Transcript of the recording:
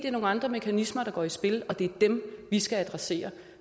er nogle andre mekanismer der går i spil og det er dem vi skal adressere